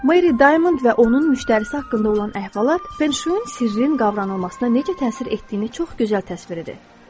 Meri Diamond və onun müştərisi haqqında olan əhvalat Fenşuinin sirrin qavranılmasına necə təsir etdiyini çox gözəl təsvir edir.